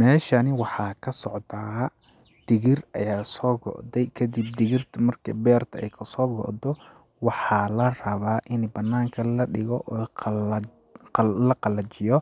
Meeshani waxaa ka socdaa digir ayaa soo go'day , kadib digirtu marki ay beertu kasoo go'do ,waxaa la rabaa ini banaanka la dhigo oo ay qala, la qalajiyo